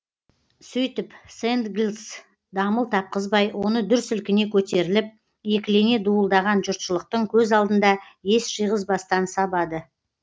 сөйтіп сэндлгс дамыл тапқызбай оны дүр сілкіне көтеріліп екілене дуылдаған жұртшылықтың көз алдында ес жиғызбастан сабады